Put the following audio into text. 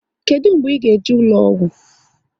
Kedụ mgbe ị ga eje ụlọgwụ?